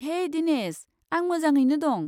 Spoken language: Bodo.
हेइ दिनेश! आं मोजाङैनो दं।